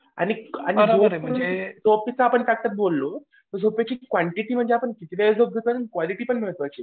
आणि म्हणजे झोपेचं आपण काहीतरी बोललो झोपेची कोन्टिटी आपण किती वेळ झोपतो आणि क्वांटिटी पण महत्वाची आहे.